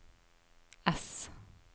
S